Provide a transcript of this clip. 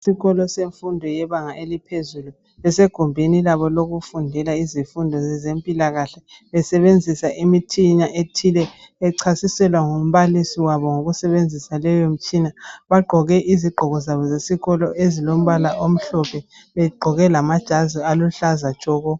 Isikolo semfundo yebanga eliphezulu besegumbini labo lokufundela izifundo zempilakahle, besebenzisa imitshina ethile bechasiselwa ngumbalisi wabo ngokusebensisa leyo mitshina. Bagqoke izigqoko zabo zesikolo ezilombala omhlophe begqoke lamajazi aluhlaza tshoko.